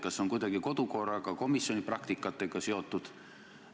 Kas see on kuidagi kodukorraga või komisjonide praktikaga seotud?